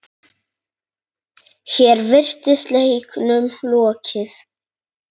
Hér virtist leiknum lokið.